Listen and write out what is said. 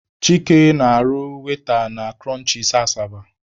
Chike na-arụ waita na kụrọnchịs Asaba.